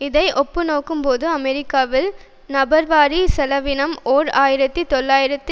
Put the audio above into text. இதை ஒப்புநோக்கும் போது அமெரிக்காவில் நபர்வாரி செலவினம் ஓர் ஆயிரத்தி தொள்ளாயிரத்து